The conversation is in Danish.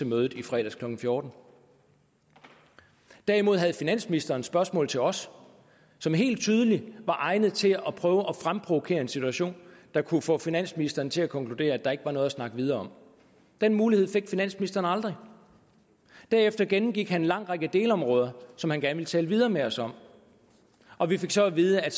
mødet i fredags klokken fjorten derimod havde finansministeren nogle spørgsmål til os som helt tydeligt var egnet til at fremprovokere en situation der kunne få finansministeren til at konkludere at der ikke var noget at snakke videre om den mulighed fik finansministeren aldrig derefter gennemgik han en lang række delområder som han gerne ville tale videre med os om og vi fik så at vide at